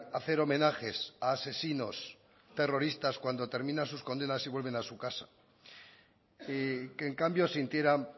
hacer homenajes a asesinos terroristas cuando terminan sus condenas y vuelven a su casa y que en cambio sintieran